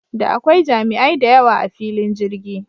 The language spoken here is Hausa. Da akwai jami'ai dayawa a filin jirgi